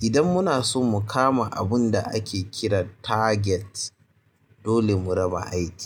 idan muna so mu kama abun da ake kira target dole mu raba aiki.